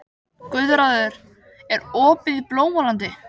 Guðráður, er opið í Blómalandi?